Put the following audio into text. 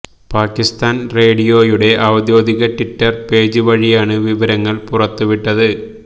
പാക്കിസ്ഥാന് റേഡിയോയുടെ ഔദ്യോഗിക Twitter page വഴിയാണ് വിവരങ്ങള് പുറത്തുവിട്ടത്